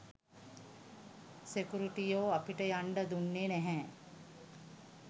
සෙකුරිටියෝ අපිට යන්ඩ දුන්නේ නැහැ.